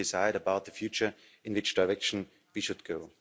People decide about the future, in which direction we should go.